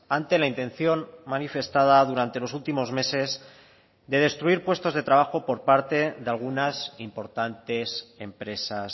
ante la intención manifestada durante los últimos meses de destruir puestos de trabajo por parte de algunas importantes empresas